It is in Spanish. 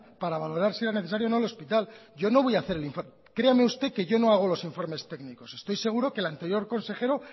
para valorar si era necesaria o no el hospital yo no voy hacer el informe créame usted que yo no hago los informes técnicos estoy seguro que el anterior consejero